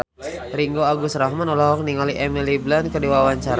Ringgo Agus Rahman olohok ningali Emily Blunt keur diwawancara